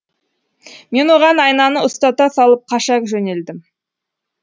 мен оған айнаны ұстата салып қаша жөнелдім